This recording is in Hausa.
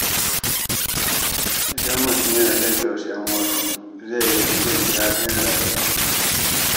Idan mutum yana jin tausayin wasu, zai fi jin dadin rayuwa.